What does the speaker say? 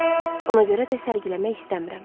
Ona görə də sərgiləmək istəmirəm.